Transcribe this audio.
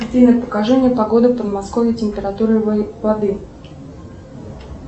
афина покажи мне погоду в подмосковье температуру воды